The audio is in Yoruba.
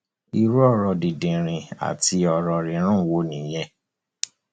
irú ọrọ dìndìnrìn àti ọrọ rírùn wo nìyẹn